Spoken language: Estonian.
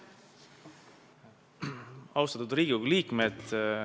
Austatud Riigikogu liikmed!